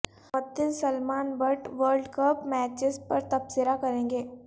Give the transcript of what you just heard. معطل Salman Butt World Cup matches پر تبصرہ کریں گے